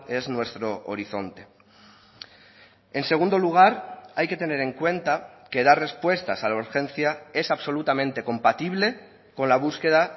es nuestro horizonte en segundo lugar hay que tener en cuenta que dar respuestas a la urgencia es absolutamente compatible con la búsqueda